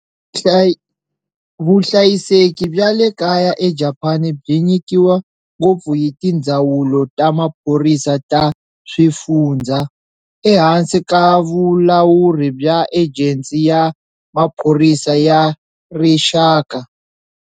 Vuhlayiseki bya le kaya eJapani byi nyikiwa ngopfu hi tindzawulo ta maphorisa ta swifundzha, ehansi ka vulawuri bya Ejensi ya Maphorisa ya Rixaka.